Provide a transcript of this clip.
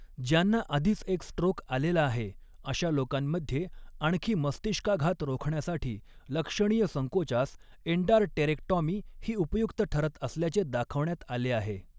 ज्यांना आधीच एक स्ट्रोक आलेला आहे, अशा लोकांमध्ये आणखी मस्तिष्काघात रोखण्यासाठी, लक्षणीय संकोचास अँडारटेरेक्टाॅमी ही उपयुक्त ठरत असल्याचे दाखवण्यात आले आहे.